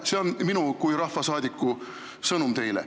See on minu kui rahvasaadiku sõnum teile.